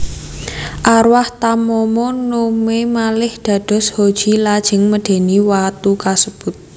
Arwah Tamamo no Mae malih dados Hoji lajeng medeni watu kasebut